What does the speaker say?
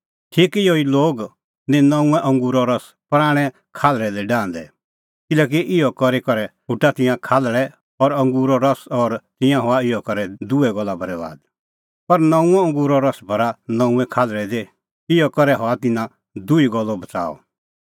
ठीक इहअ ई लोग निं नऊंअ अंगूरो रस पराणैं खाल्हल़ै दी डाहंदै किल्हैकि इहअ करी करै फुटा तिंयां खाल्हल़ै और अंगूरो रस और तिंयां हआ इहअ करै दुहै गल्ला बरैबाद पर नऊंअ अंगूरो रस भरा नऊंऐं खाल्हल़ै दी इहअ करै हआ तिन्नां दुही गल्लो बच़ाअ